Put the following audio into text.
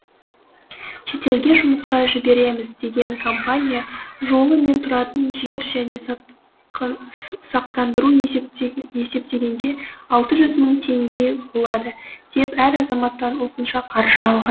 шетелге жұмысқа жібереміз деген компания жолы мен тұратын жер және сақтандыруды есептегенде алты жүз мың теңге болады деп әр азаматтан осынша қаржы алған